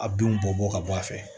A binw bɔ bɔ ka bɔ a fɛ